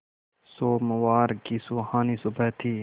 सोमवार की सुहानी सुबह थी